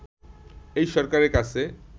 এই সরকারের কাছে